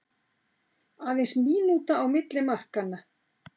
Aðeins mínúta á milli markanna